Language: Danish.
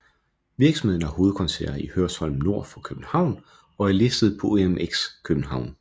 Virksomheden har hovedkontor i Hørsholm nord for København og er listet på OMX København